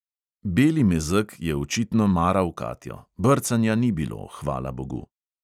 Beli mezeg je očitno maral katjo; brcanja ni bilo, hvala bogu.